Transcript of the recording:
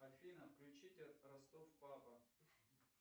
афина включите ростов папа